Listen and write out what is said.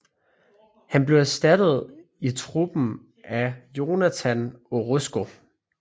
Han blev erstattet i truppen af Jonathan Orozco